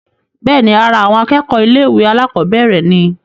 bẹ́ẹ̀ni, ara àwọn akẹ́kọ̀ọ́ ilé ìwé àkọ́bẹ̀rẹ̀ ni